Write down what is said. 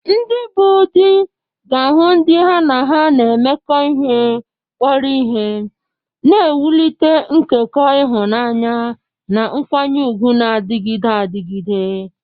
Ndị bụ́ di ga-ahụ ndị ha na ha na-emekọ ihe kpọrọ ihe, na-ewulite nkekọ ịhụnanya na nkwanye ùgwù na-adịgide adịgide.